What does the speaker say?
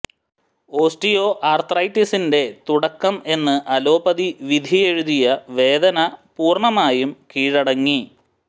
osteo ആര്ത്രൈറ്റിസിന്റെ തുടക്കം എന്ന് അലോപ്പതി വിധിയെഴുതിയ വേദന പൂര്ണമായും കീഴടങ്ങി